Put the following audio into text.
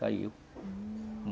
Caiu. Hum...